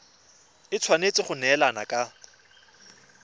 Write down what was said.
e tshwanetse go neelana ka